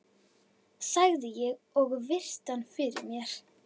sagði ég og virti hann fyrir mér.